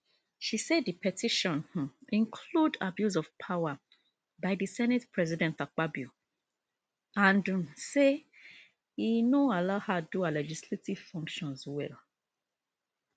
she say di petition um include abuse of power by di senate president akpabio and um say e no allow her do her legislative functions well